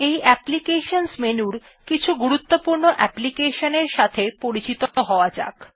এই অ্যাপ্লিকেশন মেনুর কিছু গুরুত্বপূর্ণ application এর সাথে পরিচিত হওয়া যাক